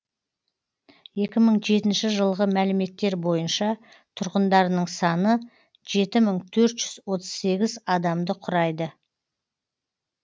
екі мың жетінші жылғы мәліметтер бойынша тұрғындарының саны жеті мың төрт жүз отыз сегіз адамды құрайды